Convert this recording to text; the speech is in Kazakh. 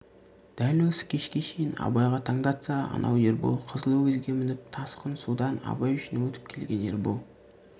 дәл осы кешке шейін абайға таңдатса анау ербол қызыл өгізге мініп тасқын судан абай үшін өтіп келген ербол